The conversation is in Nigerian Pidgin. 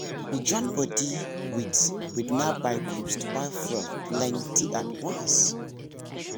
we join body with with nearby groups to buy fuel plenty at once.